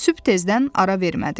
Sübh tezdən ara vermədi.